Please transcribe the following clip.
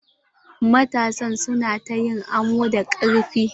Matasan su na ta yin amo da karfi.